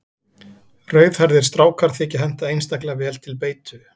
Rauðhærðir strákar þykja henta einstaklega vel til beitu.